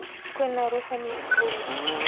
kwĩna rũheni igũrũ.